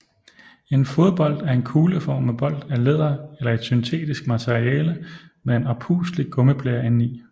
En fodbold er en kugleformet bold af læder eller et syntetisk materiale med en oppustelig gummiblære indeni